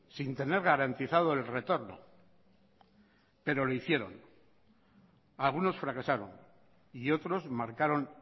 sin tener garantizado el retorno pero lo hicieron algunos fracasaron y otros marcaron